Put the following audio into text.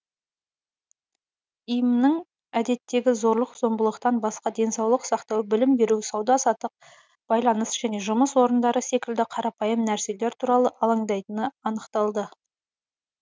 им нің әдеттегі зорлық зомбылықтан басқа денсаулық сақтау білім беру сауда саттық байланыс және жұмыс орындары секілді қарапайым нәрселер туралы алаңдайтыны анықталды